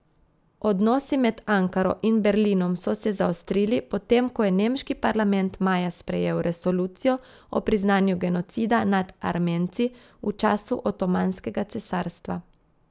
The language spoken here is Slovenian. Odnosi med Ankaro in Berlinom so se zaostrili, potem ko je nemški parlament maja sprejel resolucijo o priznanju genocida nad Armenci v času Otomanskega cesarstva.